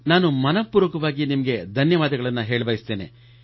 ನಾನು ಮನಃಪೂರ್ವಕವಾಗಿ ನಿಮಗೆ ಧನ್ಯವಾದಗಳನ್ನು ಹೇಳಬಯಸುತ್ತೇನೆ